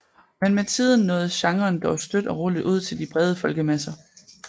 Men med tiden nåede genren dog støt og roligt ud til de brede folkemasser